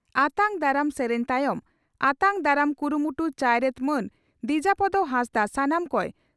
ᱟᱛᱟᱝ ᱫᱟᱨᱟᱢ ᱥᱮᱨᱮᱧ ᱛᱟᱭᱚᱢ ᱟᱛᱟᱝ ᱟᱛᱟᱝ ᱫᱟᱨᱟᱢ ᱠᱩᱢᱠᱩᱴ ᱪᱟᱭᱨᱮᱛ ᱢᱟᱱ ᱫᱤᱡᱟᱯᱚᱫᱚ ᱦᱟᱸᱥᱫᱟᱜ ᱥᱟᱱᱟᱢ ᱠᱚᱭ ᱥᱟ